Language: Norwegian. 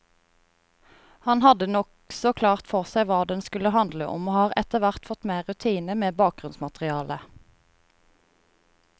Han hadde nokså klart for seg hva den skulle handle om, og har etterhvert fått mer rutine med bakgrunnsmaterialet.